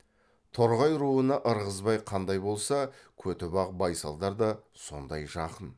торғай руына ырғызбай қандай болса көтібақ байсалдар да сондай жақын